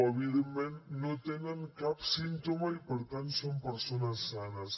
evidentment no tenen cap símptoma i per tant són persones sanes